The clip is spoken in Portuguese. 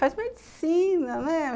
Faz medicina, né?